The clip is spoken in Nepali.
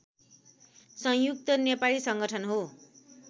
संयुक्त नेपाली संगठन हो